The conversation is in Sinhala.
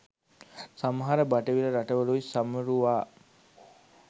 සමහර බටහිර රටවලුයි සැමරුවා